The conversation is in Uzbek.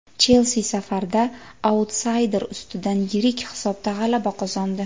"Chelsi" safarda autsayder ustidan yirik hisobda g‘alaba qozondi.